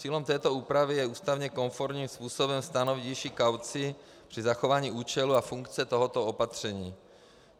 Cílem této úpravy je ústavně konformním způsobem stanovit nižší kauci při zachování účelu a funkce tohoto opatření.